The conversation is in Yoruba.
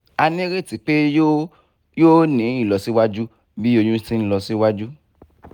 a nireti pe yoo yoo ni ilọsiwaju bi oyun ti nlọ siwaju